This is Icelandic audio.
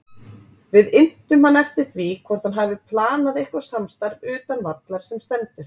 Við inntum hann eftir því hvort hann hafi planað eitthvað samstarf utan vallar sem stendur?